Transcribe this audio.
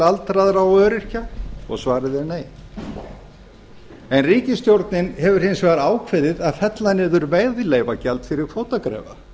aldraðra og öryrkja svarið er nei en ríkisstjórnin hefur hins vegar ákveðið að fella niður veiðileyfagjald fyrir kvótagreifa